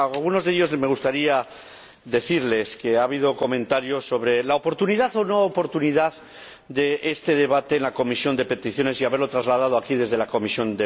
A algunos de ellos me gustaría decirles que ha habido comentarios sobre la oportunidad o no oportunidad de este debate en la Comisión de Peticiones y de haberlo trasladado aquí desde esa comisión.